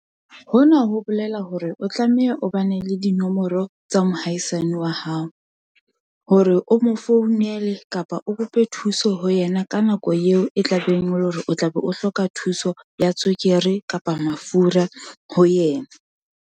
Hona ho bolela hore o tlameha o bane le dinomoro tsa mohaisane wa hao hore o mo founele kapa o kope thuso ho yena ka nako eo e tla beng o re o tlabe o hloka thuso ya tswekere kapa mafura ho yena.